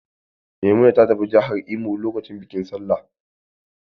Maimuna ta tafi jihar Imo lokacin bikin Sallah.